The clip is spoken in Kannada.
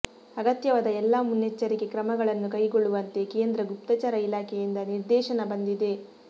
ಅಗತ್ಯವಾದ ಎಲ್ಲಾ ಮುನ್ನೆಚ್ಚರಿಕೆ ಕ್ರಮಗಳನ್ನು ಕೈಗೊಳ್ಳುವಂತೆ ಕೇಂದ್ರ ಗುಪ್ತಚರ ಇಲಾಖೆಯಿಂದ ನಿರ್ದೇಶನ ಬಂದಿದೆ